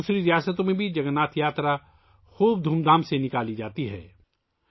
دوسری ریاستوں میں بھی جگن ناتھ یاترا بڑے دھوم دھام سے نکالی جاتی ہے